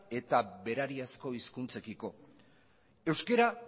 eta berariazko hizkuntzekiko euskera